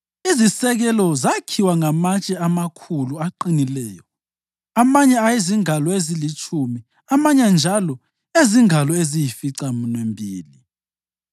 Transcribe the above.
Izisekelo zakhiwa ngamatshe amakhulu aqinileyo, amanye ayezingalo ezilitshumi amanye njalo ezingalo eziyisificaminwembili.